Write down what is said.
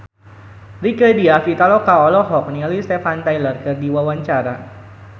Rieke Diah Pitaloka olohok ningali Steven Tyler keur diwawancara